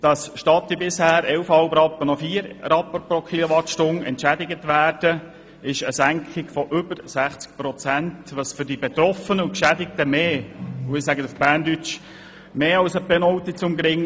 Dass statt der bisher 11,5 Rappen noch vier Rappen pro KW/h entschädigt werden, entspricht einer Senkung um über 60 Prozent, was für die Betroffenen mehr als ein «Penaltyschuss an den Kopf» ist, um es bildlich zu sagen.